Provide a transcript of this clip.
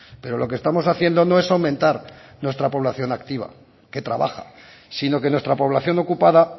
pero lo que estamos haciendo no es aumentar nuestra población activa que trabaja sino que nuestra población ocupada